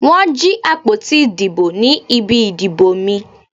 Wọ́n jí àpótí ìdìbò ní ibi ìdìbò mi.